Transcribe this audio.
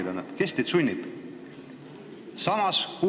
Tähendab, kes teid sunnib?